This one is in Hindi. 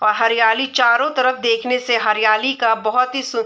अ हरियाली चारों तरफ देखने से हरियाली का बहुत ही --